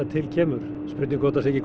til kemur spurning hvort ekki